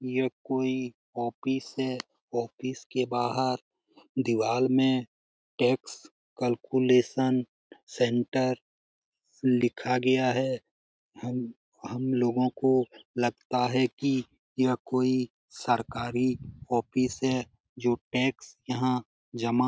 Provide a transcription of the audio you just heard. यह कोई ऑपिस है। ऑपिस के बाहर दीवाल में टैक्स कैलकुलेशन सेंटर लिखा गया है । हम हम लोगों को लगता है कि यहां कोई सरकारी ऑपिस है जो टैक्स यहाँ जमा --